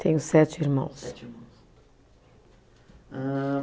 Tenho sete irmãos. Sete irmãos. Hã